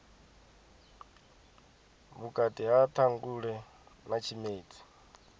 vhukati ha ṱhangule na tshimedzi